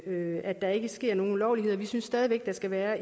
at der ikke sker nogen ulovligheder vi synes stadig væk der skal være